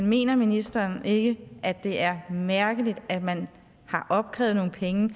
mener ministeren ikke at det er mærkeligt at man har opkrævet nogle penge